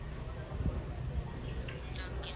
இதுல வந்து எல்லாமே இருக்கு~